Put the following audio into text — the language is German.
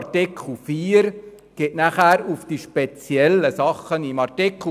Artikel 4 geht anschliessend auf spezielle Sachverhalte ein.